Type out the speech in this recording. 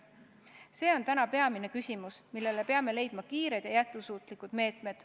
See on täna peamine küsimus, millega tegelemiseks peame leidma kiired ja jätkusuutlikud meetmed.